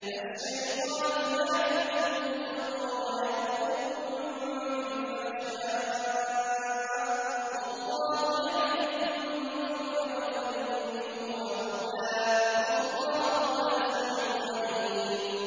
الشَّيْطَانُ يَعِدُكُمُ الْفَقْرَ وَيَأْمُرُكُم بِالْفَحْشَاءِ ۖ وَاللَّهُ يَعِدُكُم مَّغْفِرَةً مِّنْهُ وَفَضْلًا ۗ وَاللَّهُ وَاسِعٌ عَلِيمٌ